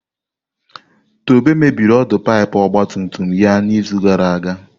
Tobe mebiri ọdụ pipu ọgba tum tum ya n'izu gara aga.